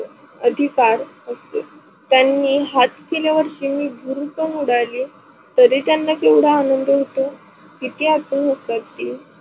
आधीकार असतो त्यांनी हात केल्यानी चिमनी भुरकून उडाली, तरी त्यांना केवडा आनंद होतो? किती आतुर असतात ती?